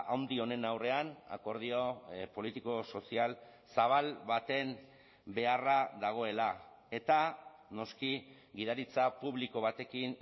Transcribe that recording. handi honen aurrean akordio politiko sozial zabal baten beharra dagoela eta noski gidaritza publiko batekin